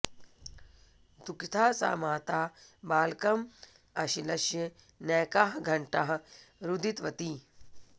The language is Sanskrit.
दुःखिता सा माता बालकम् आश्लिष्य नैकाः घ्ण्टाः रुदितवती